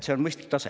See on mõistlik tase.